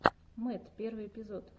мэтт первый эпизод